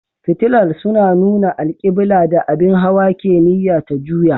Fitilar suna nuna alƙiblar da abin hawa ke niyya ta juya.